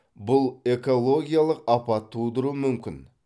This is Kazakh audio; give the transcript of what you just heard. бұл экологиялық апат тудыруы мүмкін